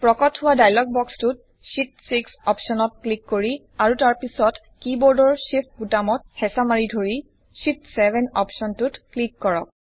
প্ৰকট হোৱা ডায়লগ বক্সটোত শীত 6 অপশ্বনত ক্লিক কৰি আৰু তাৰ পিছত কি বৰ্ডৰ Shift বুতামটোত হেচাঁ মাৰি ধৰি শীত 7 অপশ্বনটোত ক্লিক কৰক